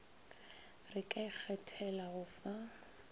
re ka ikgethela go fa